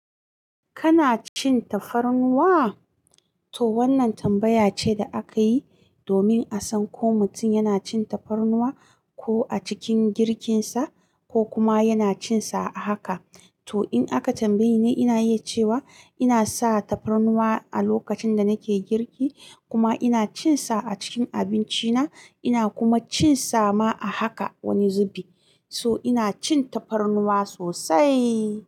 Kana cin tafarnuwa? To wannan tambaya ce da aka yi domin a san ko mutum yana cin tafarnuwa ko a cikin girkinsa ko kuma yana cin sa a haka. To in aka tambaye ni, ina yi cewa ina sa tafarnuwa a lokacin da nake girki kuma ina cin sa a cikin abinci na. Ina kuma cin sa ma a haka wani zubi. So ina cin tafarnuwa sosaiii.